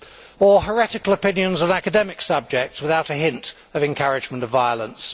or heretical opinions of academic subjects without a hint of encouragement of violence.